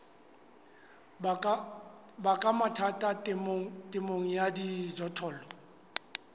baka mathata temong ya dijothollo